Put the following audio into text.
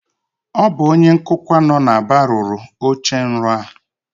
Ọ bụ onye nkụkwa a nọ n'Aba rụrụ ochenrọ a